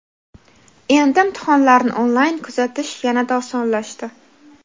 Endi imtihonlarni onlayn kuzatish yanada osonlashdi.